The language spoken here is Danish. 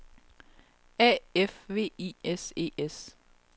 A F V I S E S